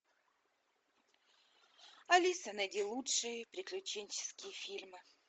алиса найди лучшие приключенческие фильмы